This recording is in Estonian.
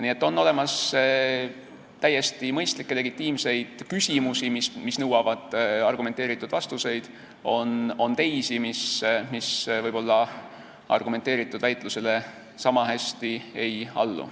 Nii et on olemas täiesti mõistlikke legitiimseid küsimusi, mis nõuavad argumenteeritud vastuseid, ja on teisi, mis argumenteeritud väitlusele võib-olla niisama hästi ei allu.